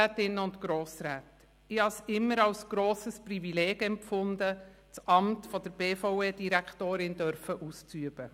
Ich habe es immer als grosses Privileg empfunden, das Amt der BVE-Direktorin ausüben zu dürfen.